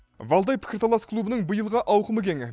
валдай пікірталас клубының биылғы ауқымы кең